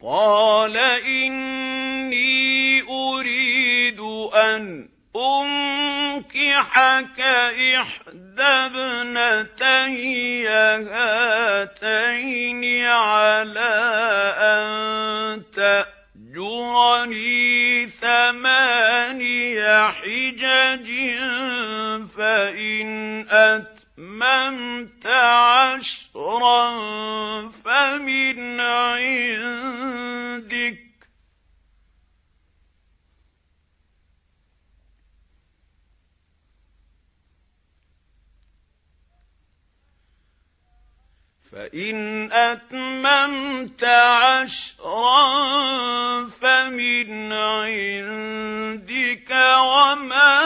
قَالَ إِنِّي أُرِيدُ أَنْ أُنكِحَكَ إِحْدَى ابْنَتَيَّ هَاتَيْنِ عَلَىٰ أَن تَأْجُرَنِي ثَمَانِيَ حِجَجٍ ۖ فَإِنْ أَتْمَمْتَ عَشْرًا فَمِنْ عِندِكَ ۖ وَمَا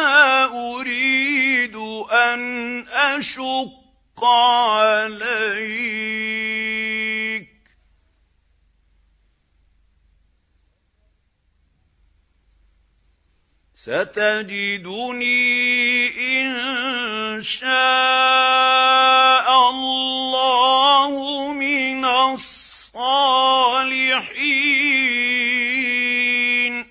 أُرِيدُ أَنْ أَشُقَّ عَلَيْكَ ۚ سَتَجِدُنِي إِن شَاءَ اللَّهُ مِنَ الصَّالِحِينَ